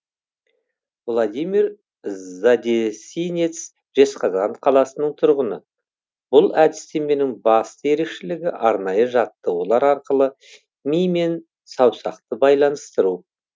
владимир задесинец жезқазған қаласының тұрғыны бұл әдістеменің басты ерекшелігі арнайы жаттығулар арқылы ми мен саусақты байланыстыру